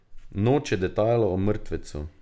Noče detajlov o mrtvecu.